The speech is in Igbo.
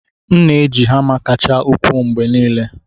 M na-eji hama kacha ukwuu mgbe niile.